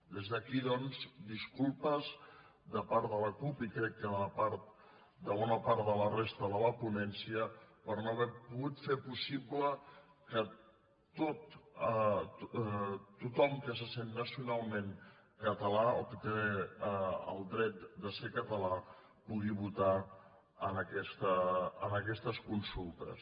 des d’aquí doncs disculpes de part de la cup i crec que de bona part de la resta de la ponència per no haver pogut fer possible que tothom que se sent nacionalment català o que té el dret de ser català pugui votar en aquestes consultes